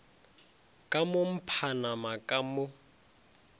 ka mo mphanama ka mo